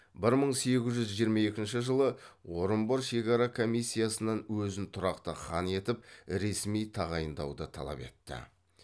бір мың сегіз жүз жиырма екінші жылы орынбор шекара комиссиясынан өзін тұрақты хан етіп ресми тағайындауды талап етті